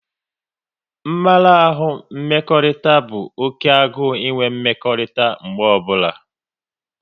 Mmarahu mmekọrịta bụ oké agụ enwe mmekọrịta mgbe ọbụla